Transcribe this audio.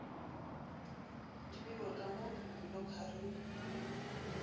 di bewe ka mo dilokharing